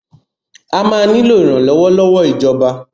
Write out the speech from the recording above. A máa nílò ìrànlọ́wọ́ lọ́wọ́ ìjọba.